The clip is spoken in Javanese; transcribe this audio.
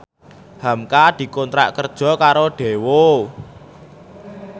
hamka dikontrak kerja karo Daewoo